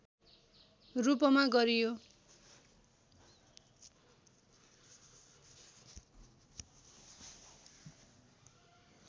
रूपमा गरियो